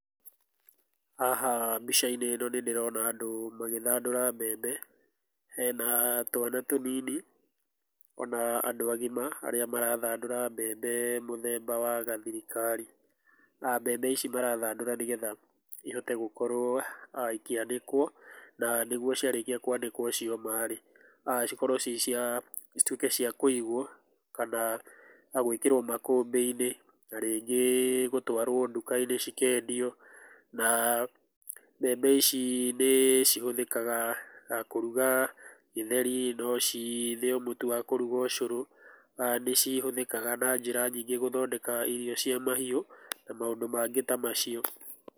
Haha mbica-inĩ ĩno nĩ ndĩrona andũ magĩthandũra mbembe, hena twana tũnini, ona andũ agima arĩa marathandũra mbembe mũthemba wa gathirikari. Mbembe ici marathandũra nĩgetha, ihote gũkorũo, ikĩanĩkwo na nĩguo ciarĩkia kũanikwo cioma rĩ, cikorũo ci cia cituĩke cia kũigwo, kana gwĩkĩrũo makũmbĩ-ini na rĩngĩ gũtwarwo nduka-inĩ cikendio. Na mbembe ici nĩ cihũthĩkaga, kũrũga ĩtheri, no cithĩo mũtũ wa kũruga ũcũrũ, nĩ cihũthĩkaga na njĩra nyingĩ gũthondeka irio cia mahiu, na maũndũ mangĩ ta macio.